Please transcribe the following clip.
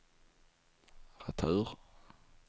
retur